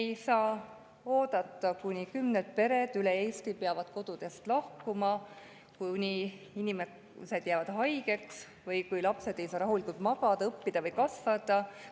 Me ei saa oodata, kuni kümned pered üle Eesti peavad kodudest lahkuma, kuni inimesed jäävad haigeks või lapsed ei saa rahulikult magada, õppida ega kasvada.